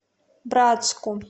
братску